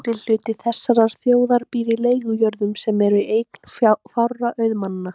Meirihluti þessarar þjóðar býr á leigujörðum, sem eru í eigu fárra auðmanna.